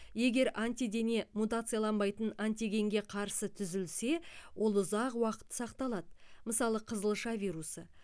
егер антидене мутацияланбайтын антигенге қарсы түзілсе ол ұзақ уақыт сақталады мысалы қызылша вирусы